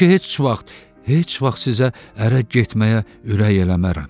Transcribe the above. Yəqin ki, heç vaxt, heç vaxt sizə ərə getməyə ürək eləmərəm.